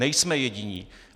Nejsme jediní!